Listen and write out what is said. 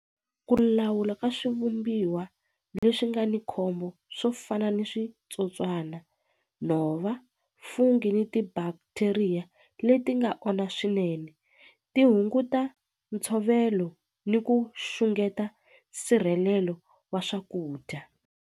Ku lawula ka swivumbiwa leswi nga ni khombo swo fana ni switsotswana, nhova, fungi ni ti-bacteria leti nga onha swinene ti hunguta ntshovelo ni ku xungeta nsirhelelo wa swakudya.